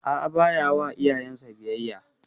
A'a, ba ya wa iyayen sa biyayya.